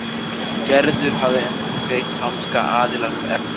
Gerður hafði endurgreitt franska aðilanum efnið.